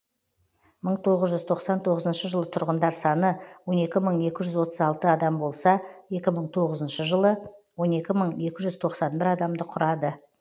мың тоғыз жүз тоқсан тоғызыншы жылы тұрғындар саны он екі мың екі жүз отыз алты адам болса екі мың тоғызыншы жылы он екі мың екі жүз тоқсан бір адамды құрады